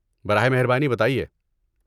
براہ مہربانی بتائیے۔